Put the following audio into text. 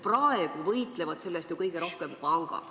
Praegu võitlevad selle eest kõige rohkem pangad.